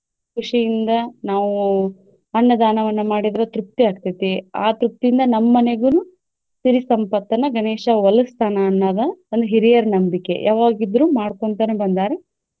ಖುಷಿಯಿಂದ ನಾವು ಅನ್ನದಾನವನ್ನ ಮಾಡಿದ್ರ ತೃಪ್ತಿ ಆಗ್ತೆತಿ. ಆ ತೃಪ್ತಿಯಿಂದ ನಮ್ಮ ಮನೆಗುನು ಸಿರಿ ಸಂಪತ್ತನ್ನ ಗಣೇಶ ವಲಸ್ತಾನ ಅನ್ನೋದ ಒಂದ ಹಿರಿಯರ ನಂಬಿಕೆ ಯಾವಾಗ ಇದ್ರು ಮಾಡ್ಕೊಂತನ ಬಂದಾರ.